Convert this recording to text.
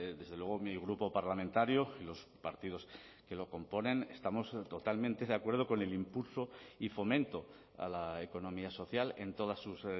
desde luego mi grupo parlamentario y los partidos que lo componen estamos totalmente de acuerdo con el impulso y fomento a la economía social en todas sus